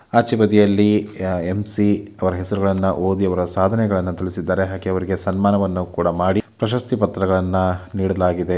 ಆಚೆಬದಿಯಲ್ಲಿ ಅಹ್ ಯ ಎಂ_ಸಿ ಅವರ ಹೆಸರುಗಳನ್ನ ಓದಿ ಅವರ ಸಾಧನೆಗಳನ್ನ ತಿಳಿಸಿದ್ದಾರೆ ಹಾಗೆ ಅವರಿಗೆ ಸನ್ಮಾನವನ್ನ ಕೂಡ ಮಾಡಿ ಪ್ರಶಸ್ತಿ ಪತ್ರಗಳನ್ನ ನೀಡಲಾಗಿದೆ.